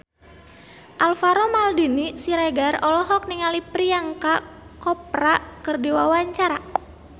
Alvaro Maldini Siregar olohok ningali Priyanka Chopra keur diwawancara